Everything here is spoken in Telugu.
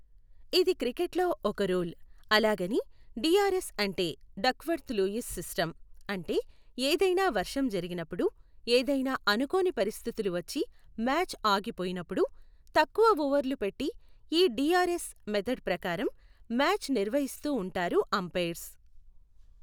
ఇది క్రికెట్ లో ఒక రూల్, అలాగని డిఆర్ఎస్ అంటే డక్వర్త్ లూయిస్ సిస్టం. అంటే ఏదైనా వర్షం జరిగినప్పుడు, ఏదైనా అనుకోని పరిస్థితులు వచ్చి మ్యాచ్ ఆగిపోయినప్పుడు, తక్కువ ఓవర్లు పెట్టి ఈ డిఆర్ఎస్ మెథడ్ ప్రకారం మ్యాచ్ నిర్వసిస్తూ ఉంటారు అంపైయర్స్.